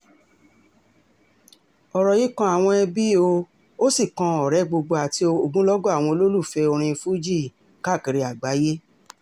ọ̀rọ̀ yìí kan àwọn ẹbí ó um sì kan ọ̀rẹ́ gbogbo àti ogumlọ́gọ̀ àwọn olólùfẹ́ orin fuji um káàkiri àgbáyé